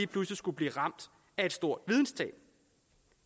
pludselig skulle blive ramt af et stort videnstab